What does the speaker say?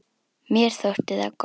Mér þótti það gott.